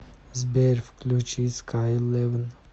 сбер включи скай левин